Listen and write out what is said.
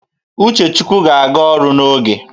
Uchechukwu ga-aga ọrụ n'oge